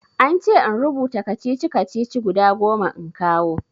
An ce in rubuta kacici-kacici guda goma in kawo.